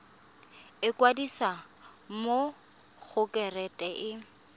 ikwadisa mo go kereite r